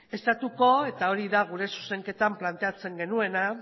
estatutuko eta hori da gure zuzenketan planteatzen genuena